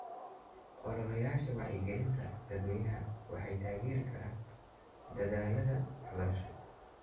Ololayaasha wacyigelinta dadweynaha waxay taageeri karaan dadaallada waxbarasho.